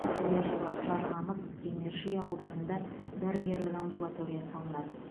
келер жылы жарқамыс кемерши ауылдарына дәрігерлік амбулатория салынады